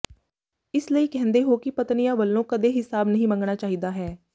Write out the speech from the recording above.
ਇਸਲਈ ਕਹਿੰਦੇ ਹੋ ਕਿ ਪਤਨੀਆਂ ਵਲੋਂ ਕਦੇ ਹਿਸਾਬ ਨਹੀਂ ਮੰਗਣਾ ਚਾਹੀਦਾ ਹੈ